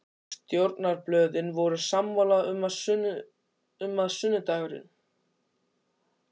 Stjórnarblöðin voru sammála um, að sunnudagurinn